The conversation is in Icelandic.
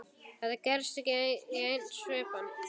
Þetta gerðist í einni svipan.